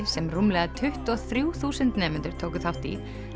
sem rúmlega tuttugu og þrjú þúsund nemendur tóku þátt í